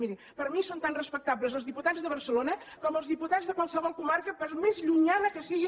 miri per mi són tan respectables els diputats de barcelona com els diputats de qualsevol comarca per més llunyana que sigui